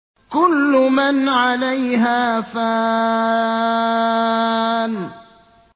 كُلُّ مَنْ عَلَيْهَا فَانٍ